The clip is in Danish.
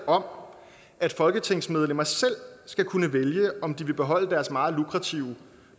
om at folketingsmedlemmer selv skal kunne vælge om de vil beholde deres meget lukrative